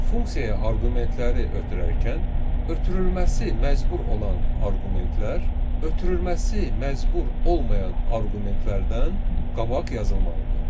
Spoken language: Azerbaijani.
Funksiyaya arqumentləri ötürərkən ötürülməsi məcbur olan arqumentlər, ötürülməsi məcbur olmayan arqumentlərdən qabaq yazılmalıdır.